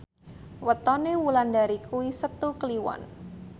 wetone Wulandari kuwi Setu Kliwon